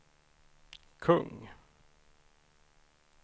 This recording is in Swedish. kung